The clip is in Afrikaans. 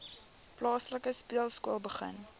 plaaslike speelskool begin